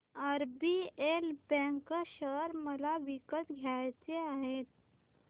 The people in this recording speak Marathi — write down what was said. आरबीएल बँक शेअर मला विकत घ्यायचे आहेत